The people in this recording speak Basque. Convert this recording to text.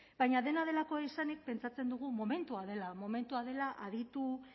baina dena delakoa izanik pentsatzen dugu momentua dela momentua dela aditu